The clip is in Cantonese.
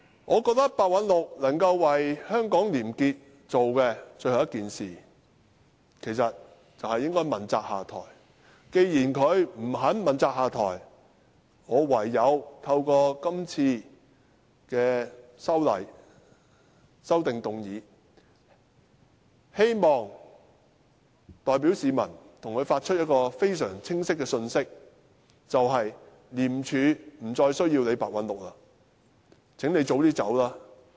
我認為白韞六可以為香港廉潔做的最後一件事，便是問責下台，而既然他不肯問責下台，我唯有透過今次的修正案，希望代表市民向他發出一個相當清楚的信息，便是廉署不再需要白韞六，請他早點離開吧。